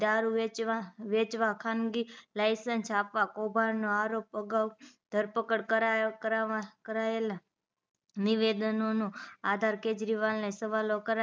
દારું વેચવા વેચવા ખાનગી લાઇસેન્સ આપવા કોભાંડ નો આરોપ અગાઉ ધરપકડ કરાયો કરવા કરાયેલા નિવેદનો નો આધાર કેજરીવાલ ને સવાલો કરાયા